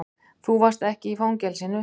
Þú varst ekki í fangelsinu.